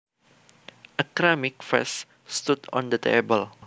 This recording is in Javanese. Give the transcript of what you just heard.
A ceramic vase stood on the table